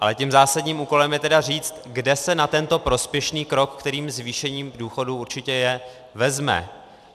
Ale tím zásadním úkolem je tedy říct, kde se na tento prospěšný krok, kterým zvýšení důchodů určitě je, vezme.